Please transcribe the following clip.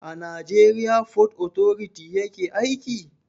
A najeriya fot otoriti yaje aiki?